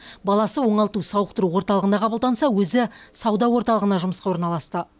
баласы оңалту сауықтыру орталығына қабылданса өзі сауда орталығына жұмысқа орналасты